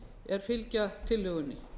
er fylgja tillögunni